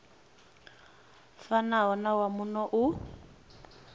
fanaho na wa muno u